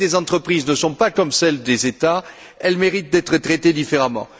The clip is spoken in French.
Les dettes des entreprises ne sont pas comme celles des États, elles méritent d'être traitées différemment.